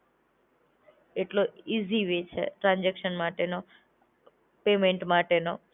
એટલો easy way છે transaction માટેનો. પેમેન્ટ માટેનો